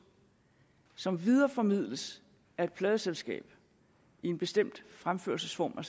som videreformidles af et pladeselskab i en bestemt fremførelsesform